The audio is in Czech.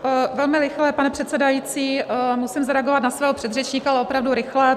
Velmi rychle, pane předsedající, musím zareagovat na svého předřečníka, ale opravdu rychle.